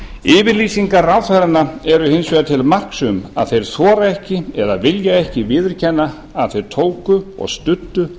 yfirlýsingar ráðherranna eru hins vegar til marks um að þeir þora ekki eða vilja ekki viðurkenna að þeir tóku og studdu